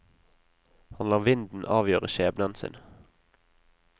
Han lar vinden avgjøre skjebnen sin.